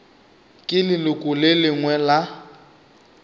ke leloko le lengwe la